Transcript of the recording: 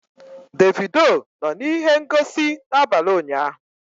Davido nọ na ihe ngosi n'abalị ụnyahụ?